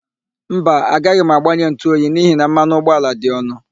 Mba, agaghị m agbanye ntụoyi n'ihi na mmanụ ụgbọala dị ọnụ.